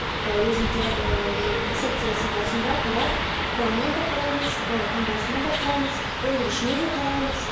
ы өзін ыыы секциясында сонда қарап құрамына да қараймыз таңбасына да қараймыз өндірушісіне де қараймыз